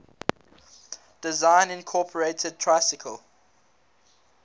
design incorporated tricycle